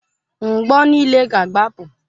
Mgbọ niile ga agbapụ.